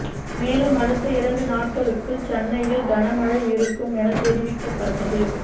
மேலும் அடுத்த இரண்டு நாட்களுக்கு சென்னையில் கன மழை இருக்கும் என்று தெரிவிக்கப்பட்டது